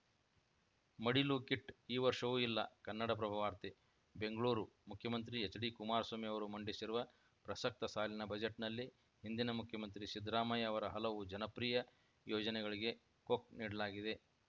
ಮಡಿಲು kit ಈ ವರ್ಷವೂ ಇಲ್ಲ ಕನ್ನಡಪ್ರಭ ವಾರ್ತೆ ಬೆಂಗಳೂರು ಮುಖ್ಯಮಂತ್ರಿ ಎಚ್‌ಡಿ ಕುಮಾರಸ್ವಾಮಿ ಅವರು ಮಂಡಿಸಿರುವ ಪ್ರಸಕ್ತ ಸಾಲಿನ ಬಜೆಟ್‌ನಲ್ಲಿ ಹಿಂದಿನ ಮುಖ್ಯಮಂತ್ರಿ ಸಿದ್ದರಾಮಯ್ಯ ಅವರ ಹಲವು ಜನಪ್ರಿಯ ಯೋಜನೆಗಳಿಗೆ ಕೊಕ್‌ ನೀಡಲಾಗಿದೆ